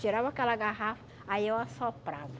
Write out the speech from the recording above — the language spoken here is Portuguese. Tirava aquela garrafa, aí eu assoprava.